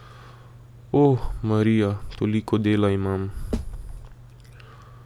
O, Marija, toliko dela imam.